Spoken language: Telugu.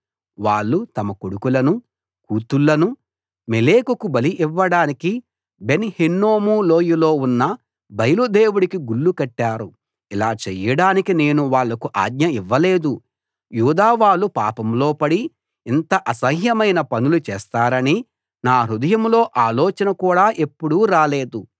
వాళ్ళు తమ కొడుకులను కూతుళ్ళను మొలెకుకు బలి ఇవ్వడానికి బెన్‌ హిన్నోము లోయలో ఉన్న బయలు దేవుడికి గుళ్ళు కట్టారు ఇలా చెయ్యడానికి నేను వాళ్లకు ఆజ్ఞ ఇవ్వలేదు యూదా వాళ్ళు పాపంలో పడి ఇంత అసహ్యమైన పనులు చేస్తారని నా హృదయంలో ఆలోచన కూడా ఎప్పుడూ రాలేదు